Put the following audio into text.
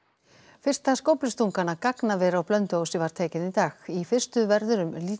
fyrsta skóflustungan að gagnaveri á Blönduósi var tekin í dag í fyrstu verður